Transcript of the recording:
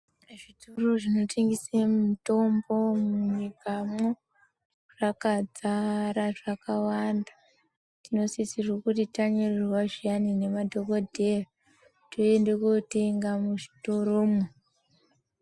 Zvitoro zvinotengese mitombo munyikamwo, zvakadzara, zvakawanda. Tinosiserwe kuti tanyorerwa zviyani nemadhokodheya toenda kotenga muzvitoromwo.